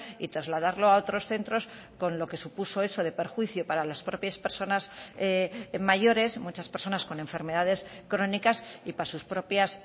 y trasladarlo a otros centros con lo que supuso eso de perjuicio para las propias personas mayores muchas personas con enfermedades crónicas y para sus propias